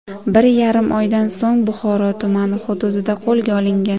bir yarim oydan so‘ng Buxoro tumani hududida qo‘lga olingan.